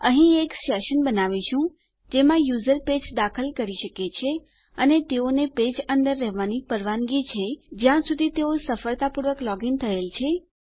અહીં એક સેશન બનાવીશું જેમાં યુઝર પેજ દાખલ કરી શકે છે અને તેઓને પેજ અંદર રહેવાની પરવાનગી છે જ્યાં સુધી તેઓ સફળતાપૂર્વક લોગ ઇન થયેલ છે